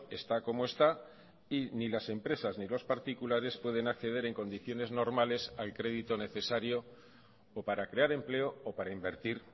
está como está y ni las empresas ni los particulares pueden acceder en condiciones normales al crédito necesario o para crear empleo o para invertir